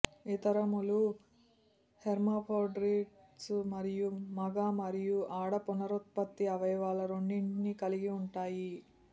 ఇతరములు hermaphrodites మరియు మగ మరియు ఆడ పునరుత్పత్తి అవయవాలు రెండింటినీ కలిగి ఉంటాయి